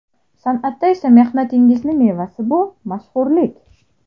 San’atda esa mehnatingizning mevasi bu – mashhurlik!